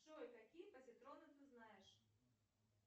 джой какие позитроны ты знаешь